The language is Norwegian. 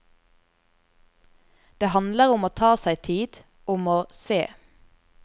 Det handler om å ta seg tid, om å se.